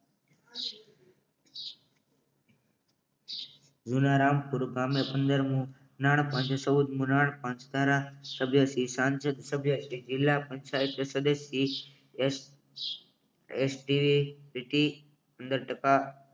જુના રામ પુર ગામે પંદર મુ નાણાપંચ તારા સગેથી સાંજ સભ્ય જિલ્લા પંચાયત સભ્ય સાહેબ સદસ્ય શ્રી એસ. ટી જીટી પંદર ટકા